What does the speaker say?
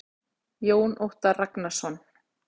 Jón Óttar Ragnarsson.